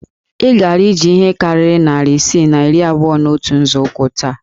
E gara ije ihe karịrị narị isii na iri abụọ na otu nzọụkwụ taa